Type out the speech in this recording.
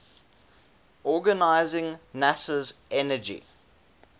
organizing nasa's energy